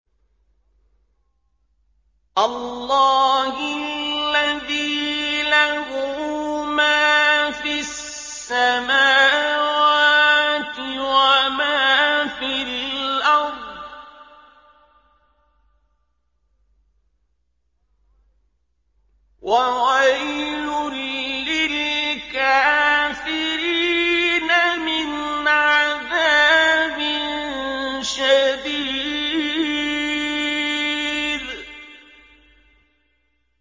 اللَّهِ الَّذِي لَهُ مَا فِي السَّمَاوَاتِ وَمَا فِي الْأَرْضِ ۗ وَوَيْلٌ لِّلْكَافِرِينَ مِنْ عَذَابٍ شَدِيدٍ